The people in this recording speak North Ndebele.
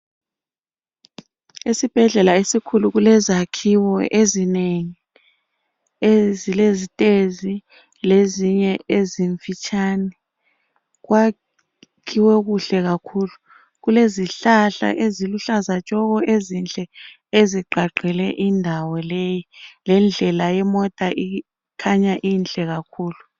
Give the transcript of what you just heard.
Esibhedlela esikhulu kulezakhiwo ezinengi ezilezitezi lezinye ezimfitshane kwakhiwe kuhle kakhulu. Kulezihlahla eziluhlaza tshoko ezinhle ezigqagqele indawo leyi. Lendlela yemota ikhanya inhle kakhulu.